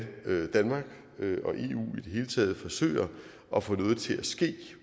danmark og hele taget forsøger at få noget til at ske